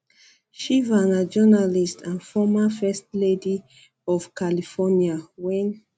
um shriver na journalist and former first lady lady of california wen